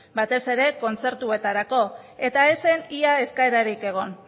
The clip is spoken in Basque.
batez ere kontzertuetarako eta ez zen ia eskaerarik egon